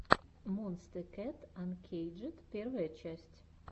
монсте кэт анкейджед первая часть